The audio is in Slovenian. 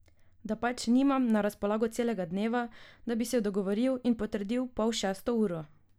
Da pač nimam na razpolago celega dneva, da bi se dogovoril in potrdil pol šesto uro.